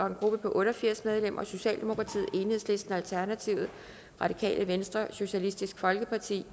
en gruppe på otte og firs medlemmer socialdemokratiet enhedslisten alternativet radikale venstre socialistisk folkeparti